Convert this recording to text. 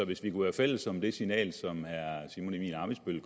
hvis vi kunne være fælles om det signal som herre simon emil ammitzbøll